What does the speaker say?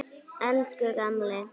Elsku gamli.